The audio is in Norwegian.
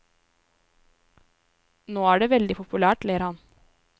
Nå er det veldig populært, ler han.